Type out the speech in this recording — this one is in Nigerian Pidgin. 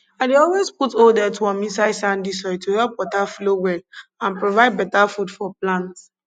i dey always put old earthworm inside sandy soil to help water flow well and provide better food for plants